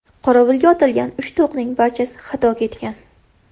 Qorovulga otilgan uchta o‘qning barchasi xato ketgan.